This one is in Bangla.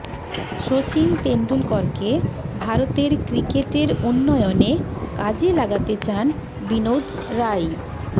সচিন তেন্ডুলকরকে ভারতের ক্রিকেটের উন্নয়নে কাজে লাগাতে চান বিনোদ রাই